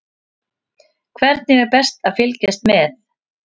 Hvernig er best að fylgjast með?